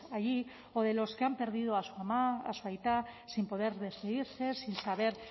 allí o de los que han perdido a su ama a su aita sin poder despedirse sin saber